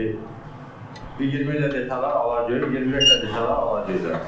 İndi 20 də desələr alacağıq, 25 də desələr alacağıq da.